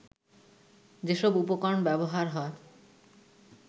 যেসব উপকরণ ব্যবহার হয়